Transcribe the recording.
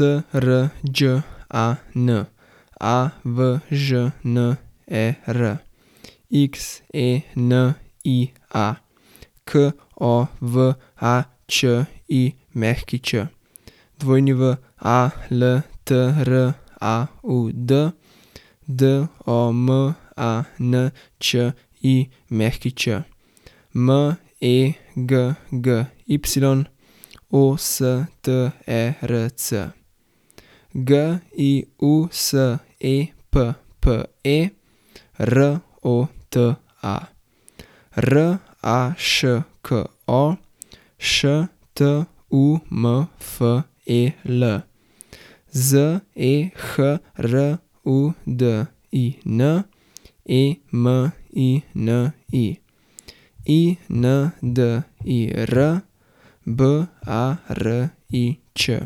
S R Đ A N, A V Ž N E R; X E N I A, K O V A Č I Ć; W A L T R A U D, D O M A N Č I Ć; M E G G Y, O S T E R C; G I U S E P P E, R O T A; R A Š K O, Š T U M F E L; Z E H R U D I N, E M I N I; I N D I R, B A R I Č;